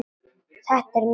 Þetta er mikið verk.